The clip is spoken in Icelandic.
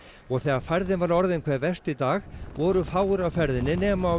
og þegar færðin var orðin hve verst í dag voru fáir á ferðinni nema á